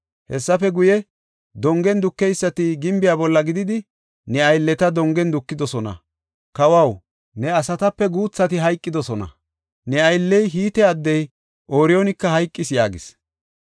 Hessafe guye, dongen dukeysati gimbiya bolla gididi ne aylleta dongen dukidosona. Kawaw, ne asatape guuthati hayqidosona; ne aylley, Hite addey Ooriyoonika hayqis” yaagis.